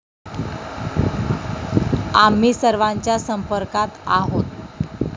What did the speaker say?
आम्ही सर्वांच्या संपर्कात आहोत.